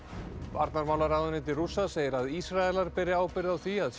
varnarmálaráðuneyti Rússa segir að Ísraelar beri ábyrgð á því að